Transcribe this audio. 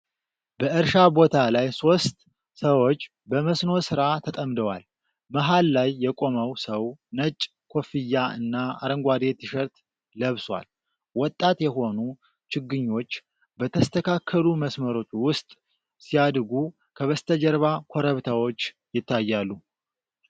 በእርሻ ቦታ ላይ ሦስት ሰዎች በመስኖ ሥራ ተጠምደዋል። መሀል ላይ የቆመው ሰው ነጭ ኮፍያ እና አረንጓዴ ቲሸርት ለብሷል። ወጣት የሆኑ ችግኞች በተስተካከሉ መስመሮች ውስጥ ሲያድጉ፤ ከበስተጀርባ ኮረብታዎች ይታያሉ።